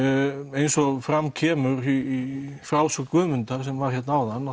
eins og fram kemur í frásögn Guðmundar sem var hérna áðan